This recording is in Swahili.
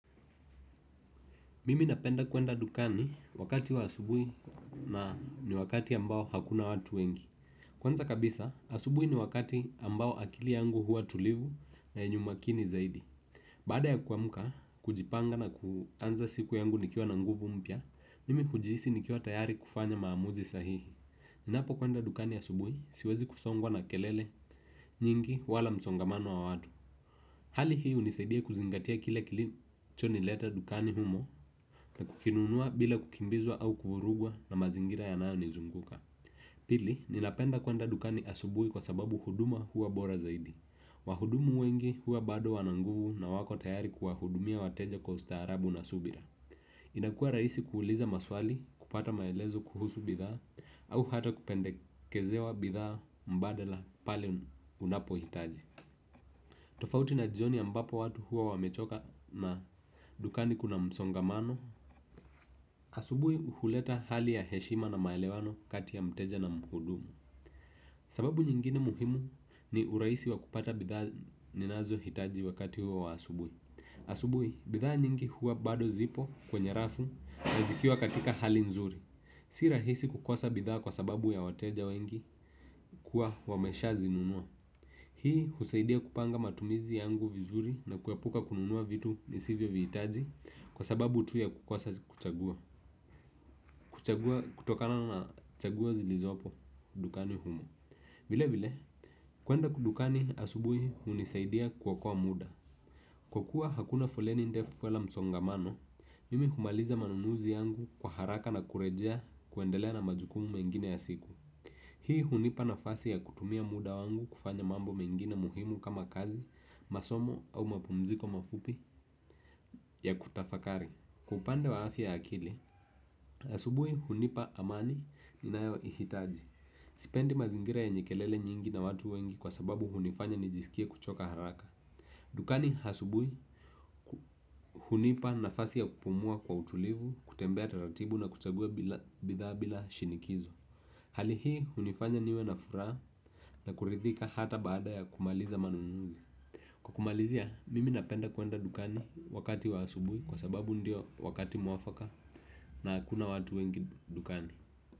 Mimi napenda kuenda dukani wakati wa asubuhi na ni wakati ambao hakuna watu wengi. Kwanza kabisa, asubuhi ni wakati ambao akili yangu huwa tulivu na enye umakini zaidi. Baada ya kuamka, kujipanga na kuanza siku yangu nikiwa na nguvu mpya, mimi hujihisi nikiwa tayari kufanya maamuzi sahihi. Ninapo kuenda dukani asubuhi, siwezi kusongwa na kelele nyingi wala msongamano wa watu. Hali hii hunisaidia kuzingatia kile kilicho nileta dukani humo na kukinunua bila kukimbizwa au kufurugwa na mazingira yanayo nizunguka. Pili ninapenda kuenda dukani asubuhi kwa sababu huduma huwa bora zaidi. Wahudumu wengi huwa bado wana nguvu na wako tayari kuwahudumia wateja kwa ustaarabu na subira. Inakua rahisi kuuliza maswali kupata maelezo kuhusu bidhaa au hata kupendekezewa bidhaa mbadala pale unapohitaji. Tofauti na jioni ambapo watu huwa wamechoka na dukani kuna msongamano. Asubui huhuleta hali ya heshima na maelewano kati ya mteja na mhudumu sababu nyingine muhimu ni urahisi wa kupata bidhaa ninazohitaji wakati huo wa asubuhi. Asubui, bidhaa nyingi huwa bado zipo kwenye rafu na zikia katika hali nzuri. Sii rahisi kukosa bidhaa kwa sababu ya wateja wengi kuwa wamesha zinunua. Hii husaidia kupanga matumizi yangu vizuri na kuepuka kununua vitu nisivyo vihitaji kwa sababu tu ya kukosa kuchagua kutokana na chaguo zilizopo dukani humo vile vile, kuenda dukani asubuhi hunisaidia kuokoa muda. Kwa kuwa hakuna foleni ndefu wala msongamano, mimi humaliza manunuzi yangu kwa haraka na kurejea kuendelea na majukumu mengine ya siku. Hii hunipa nafasi ya kutumia muda wangu kufanya mambo mengine muhimu kama kazi, masomo au mapumziko mafupi ya kutafakari. Kwa upande wa afya ya akili asubuhi hunipa amani ninaohitaji sipendi mazingira yenye kelele nyingi na watu wengi kwa sababu hunifanya nijisikie kuchoka haraka. Dukani asubuhi hunipa nafasi ya kupumua kwa utulivu, kutembea taratibu na kuchagua bidhaa bila shinikizo. Hali hii hunifanya niwe na furaha na kurithika hata baada ya kumaliza manunuzi. Kumalizia, mimi napenda kuenda dukani wakati wa asubuhi kwa sababu ndio wakati mwafaka na hakuna watu wengi dukani.